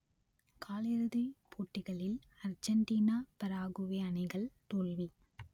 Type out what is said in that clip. காலிறுதிப் போட்டிகளில் Argentina Paraguay அணிகள் தோல்வி